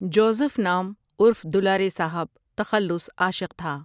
Joseph نام عرف دولارے صاحب تخلص عاشقؔ تھا ۔